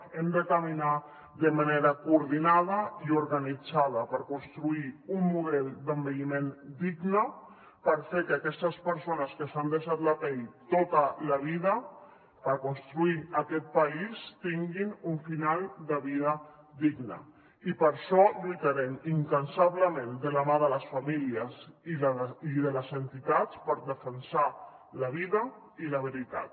hem de caminar de manera coordinada i organitzada per construir un model d’envelliment digne per fer que aquestes persones que s’han deixat la pell tota la vida per construir aquest país tinguin un final de vida digne i per això lluitarem incansablement de la mà de les famílies i de les entitats per defensar la vida i la veritat